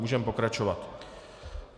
Můžeme pokračovat.